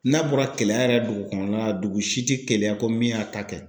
N'a bɔra kɛlɛya yɛrɛ dugu kɔnɔna na, dugu si tɛ gɛlɛya ko min y'a ta kɛ!